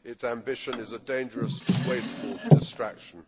Its ambition is a dangerous, wasteful distraction.